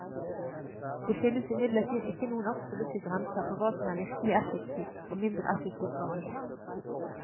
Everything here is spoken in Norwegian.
Det finnes imidlertid ikke noen absolutte grenser for hva som er virkelig effektiv og mindre effektiv behandling.